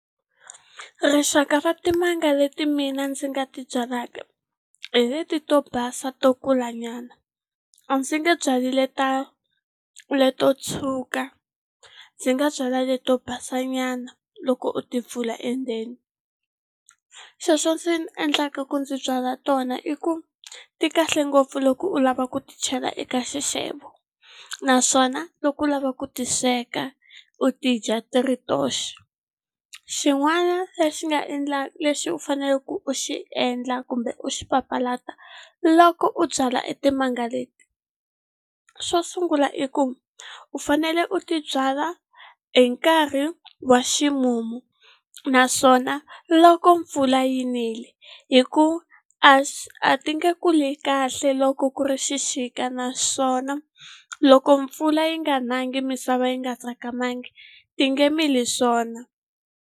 Rixaka ra timanga leti mina ndzi nga ti byalaka hi leti to basa to kulanyana. A ndzi nge byali ta leto tshuka, ndzi nga byala leti to basanyana loko u timpfula endzeni. Xexo xi ndzi endlaka ku ndzi byala tona i ku, ti kahle ngopfu loko u lava ku ti chela eka xixevo, naswona loko u lava ku ti sweka u ti dya ti ri toxe. Xin'wana lexi nga lexi u faneleke ku u xi endla kumbe u xi papalata loko u byala etimanga leti. Xo sungula i ku, u fanele u ti byala hi nkarhi wa ximumu, naswona loko mpfula yi nile. Hikuva a a ti nge kuli kahle loko ku ri xixika naswona loko mpfula yi nga nangi misava yi nga tsakamangi, ti nge mili swona.